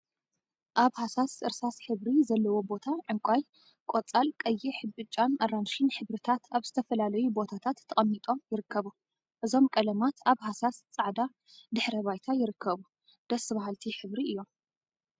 አብ ሃሳስ እርሳስ ሕብሪ ዘለዎ ቦታ ዕንቋይ፣ ቆፃል፣ ቀይሕ፣ ብጫን አራንሺን ሕብሪታት አብ ዝተፈላለዩ ቦታታት ተቀሚጦም ይርከቡ። እዞም ቀለማት አብ ሃሳስ ፃዕዳ ድሕረ ባይታ ይርከቡ። ደስ በሃልቲ ሕብሪ እዮም።